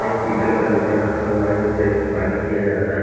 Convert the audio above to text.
एक पीतल का लोटा रखा हुआ है जिसे आई थिंक पानी पिया जाता है।